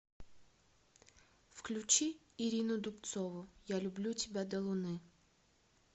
включи ирину дубцову я люблю тебя до луны